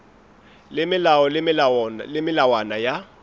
le melao le melawana ya